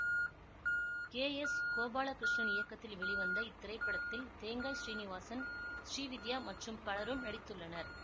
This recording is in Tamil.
கே எஸ் கோபாலகிருஷ்ணன் இயக்கத்தில் வெளிவந்த இத்திரைப்படத்தில் தேங்காய் ஸ்ரீநிவாசன் ஸ்ரீவித்யா மற்றும் பலரும் நடித்துள்ளனர்